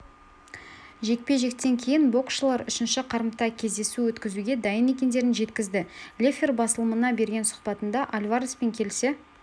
жекпе-жектен кейін боксшылар үшінші қарымта кездесу өткізуге дайын екендерін жеткізді леффлер басылымына берген сұхбатында альвареспен келісе